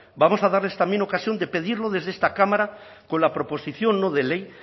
vamos a darles también ocasión de pedirlo desde esta cámara con la proposición no de ley